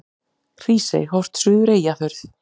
Hrísey, horft suður Eyjafjörð.